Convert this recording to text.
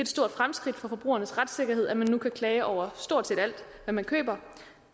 stort fremskridt for forbrugernes retssikkerhed at man nu kan klage over stort set alt hvad man køber